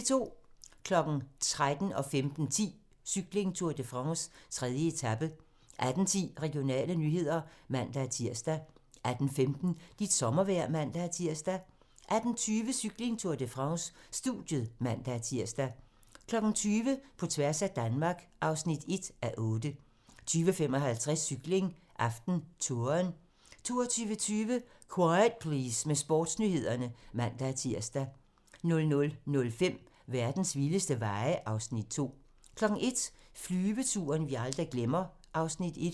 13:00: Cykling: Tour de France - 3. etape 15:10: Cykling: Tour de France - 3. etape 18:10: Regionale nyheder (man-tir) 18:15: Dit sommervejr (man-tir) 18:20: Cykling: Tour de France - studiet (man-tir) 20:00: På tværs af Danmark (1:8) 20:55: Cykling: AftenTouren 22:20: Quiet Please med Sportsnyhederne (man-tir) 00:05: Verdens vildeste veje (Afs. 2) 01:00: Flyveturen, vi aldrig glemmer (Afs. 1)